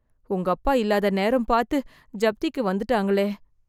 உங்கப்பா இல்லாத நேரம் பார்த்து, ஜப்திக்கு வந்துட்டாங்களே..